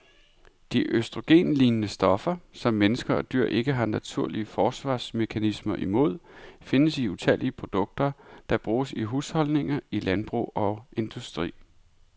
De østrogenlignende stoffer, som mennesker og dyr ikke har naturlige forsvarsmekanismer imod, findes i utallige produkter, der bruges i husholdninger, i landbrug og industri.